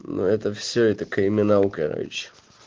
но это все это криминал короче